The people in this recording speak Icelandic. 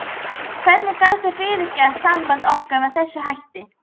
Hvernig gastu fyrirgert sambandi okkar með þessum hætti?